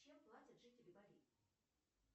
чем платят жители бали